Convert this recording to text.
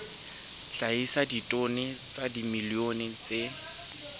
hlahisa ditone tsa dimilione tse